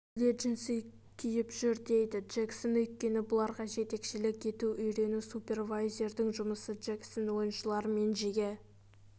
бәрі де джинсы киіп жүрдейді джексон өйткені бұларға жетекшілік ету үйрету супервайзердің жұмысы джексон ойыншылармен жиі